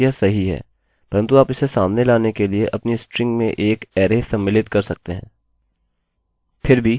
परन्तु आप इसे सामने लाने के लिए अपनी स्ट्रिंग में एक अरैarray सम्मिलित कर सकते हैं